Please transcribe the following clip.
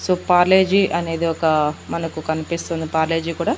so పాలేజీ అనేది ఒక మనకు కన్పిస్తుంది పాలేజీ కూడా--